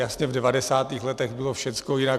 Jasně, v 90. letech bylo všecko jinak.